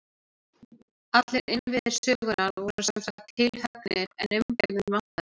Allir innviðir sögunnar voru sem sagt tilhöggnir, en umgjörðina vantaði.